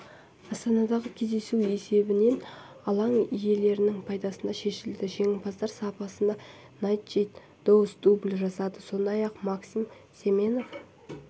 астанадағы кездесу есебімен алаң иелерінің пайдасына шешілді жеңімпаздар сапында найджел доус дубль жасады сондай-ақ максим семенов